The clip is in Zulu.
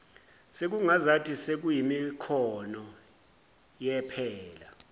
sekungazathi sekuyimikhono yephela